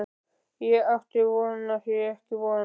Á því átti ég ekki von.